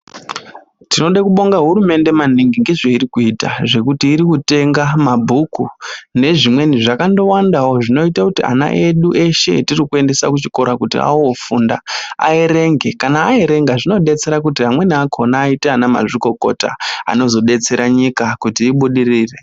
Tinodekubonga kurumende maningi ngezveirikuita zvekuti irikutenga mabhuku nezvimweni zvakandowandawo zvinoite kuti ana edu eshe etirikuendese kuchikora kuti aofunda, aerenge, kana aerenga zvinodetsera kuti amweni akhona aite anamazvikokota anozodetsera nyika kuti ibudirire.